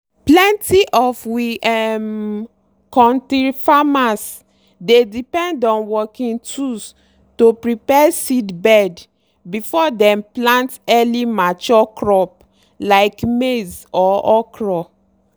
plenty of we um kontir farmers dey depend on working tools to prepare seedbed before dem plant early-mature crop like maize or okra.